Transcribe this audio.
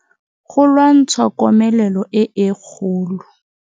Go lwantsha komelelo e e kgolo.